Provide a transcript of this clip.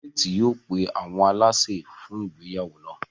Faith yóò pe awọn àlàsè fun ìgbéyàwó náa.